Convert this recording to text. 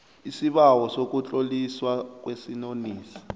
isibawo sokutloliswa kwesinonisi